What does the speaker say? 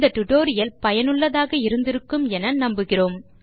tutorial பயனுள்ளதாயும் அனுபவிக்கத் தக்கதாயும் இருந்திருக்கும் என நம்புகிறேன்